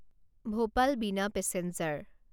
Bhopal Bina passenger